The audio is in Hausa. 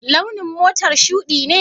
Launin motar shuɗi ne?